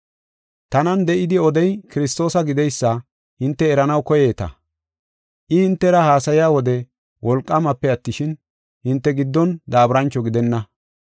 Tanan de7idi odey Kiristoosa gideysa hinte eranaw koyeeta. I hintera haasaya wode wolqaamape attishin, hinte giddon daaburancho gidenna.